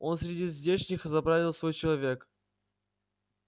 он среди здешних заправил свой человек